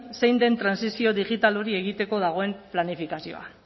zein den trantsizio digital hori egiteko dagoen planifikazioa